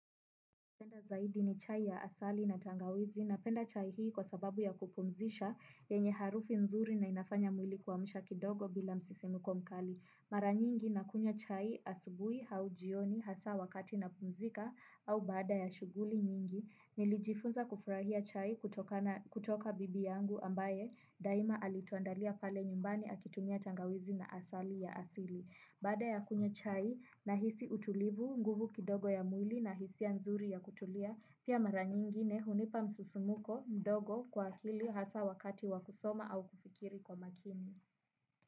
Napenda zaidi ni chai ya asali na tangawizi napenda chai hii kwa sababu ya kupumzisha yenye harufu nzuri na inafanya mwili kuamsha kidogo bila msisimuko mkali. Mara nyingi na kunywa chai asubuhi au jioni hasa wakati napumzika au baada ya shughuli nyingi. Nilijifunza kufurahia chai kutokana kutoka bibi yangu ambaye daima alituandalia pale nyumbani akitumia tangawizi na asali ya asili. Baada ya kunywa chai nahisi utulivu, nguvu kidogo ya mwili na hisia nzuri ya kutulia, pia mara nyingine hunipa msisimuko mdogo kwa akili hasa wakati wakusoma au kufikiri kwa makini.